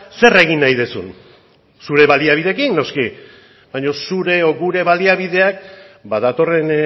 zer egin nahi duzun zure baliabideekin noski baina zure o gure baliabideak ba datorren